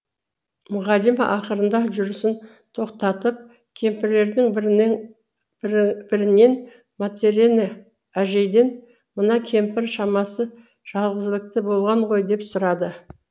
мұғалима ақырында жүрісін тоқтатып кемпірлердің бірінен матрена әжейден мына кемпір шамасы жалғызілікті болған ғой деп сұрады